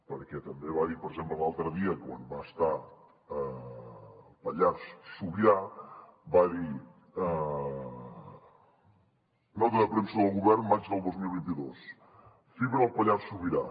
perquè també va dir per exemple l’altre dia quan va estar al pallars sobirà nota de premsa del govern maig del dos mil vint dos fibra al pallars sobirà